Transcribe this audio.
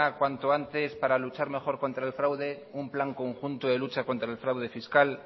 cuanto antes para luchar mejor contra el fraude un plan conjunto de lucha contra el fraude fiscal